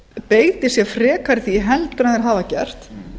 beiti sér frekar heldur en þeir hafa gert